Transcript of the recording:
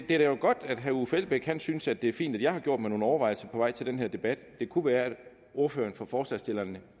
det er jo godt at herre uffe elbæk synes det er fint at jeg har gjort mig nogle overvejelser på vej til den her debat det kunne være at ordføreren for forslagsstillerne